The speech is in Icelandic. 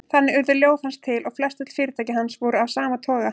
Þannig urðu ljóð hans til og flestöll fyrirtæki hans voru af sama toga.